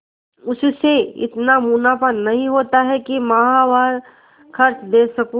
उससे इतना मुनाफा नहीं होता है कि माहवार खर्च दे सकूँ